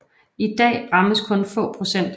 I dag rammes kun få procent